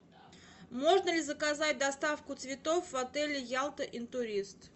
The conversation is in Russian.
можно ли заказать доставку цветов в отель ялта интурист